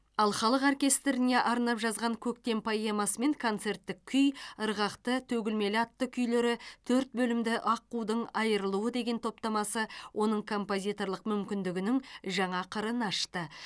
ал халық оркестріне арнап жазған көктем поэмасы мен концерттік күй ырғақты төгілмелі атты күйлері төрт бөлімді аққудың айрылуы деген топтамасы оның композиторлық мүмкіндігінің жаңа қырын ашты